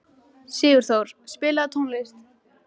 Sigurþór, spilaðu tónlist.